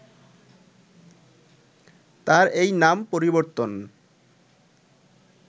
তার এই নাম পরিবর্তন